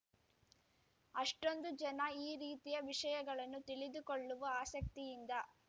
ಅಷ್ಟೊಂದು ಜನ ಈ ರೀತಿಯ ವಿಷಯಗಳನ್ನು ತಿಳಿದುಕೊಳ್ಳುವ ಆಸಕ್ತಿಯಿಂದ